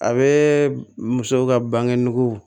A bɛ muso ka bange nugu